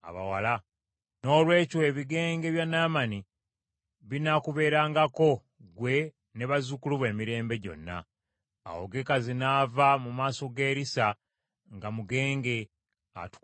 Noolwekyo ebigenge bya Naamani binaakuberangako gwe ne bazzukulu bo emirembe gyonna.” Awo Gekazi n’ava mu maaso ga Erisa nga mugenge, atukula ng’omuzira.